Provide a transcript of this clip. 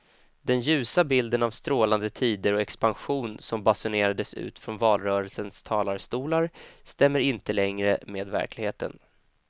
Den ljusa bilden av strålande tider och expansion som basunerades ut från valrörelsens talarstolar stämmer inte längre med verkligheten.